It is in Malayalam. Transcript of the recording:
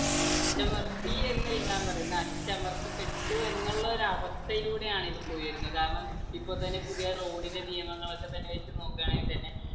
അടിച്ചമർത്തി എന്നല്ല ഞാൻ പറയുന്നത് അടിച്ചമർത്തപ്പെട്ടു എന്നുള്ള ഒരവസ്ഥയിലൂടെയാണ് ഇപ്പൊ പോയി വരുന്നെ കാരണം ഇപ്പൊ തന്നെ പുതിയ road ന്റെ നിയമങ്ങളൊക്കെതന്നെ വെച്ച് നോക്ക് ആണെങ്കി തന്നെ